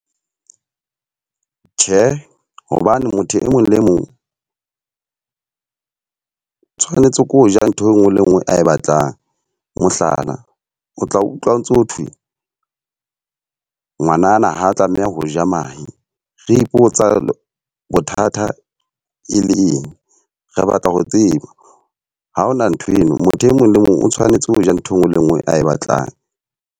Tjhe, hobane motho e mong le mong o tshwanetse ko ja nthwe nngwe le e nngwe ae batlang. Mohlala, o tla utlwa ntso thwe ngwanana ha tlameha ho ja mahe. Re ipotsa bothata e le eng re batla ho tseba ha hona ntho eno. Motho e mong le mong o tshwanetse ho ja nthwe nngwe le e nngwe a e batlang.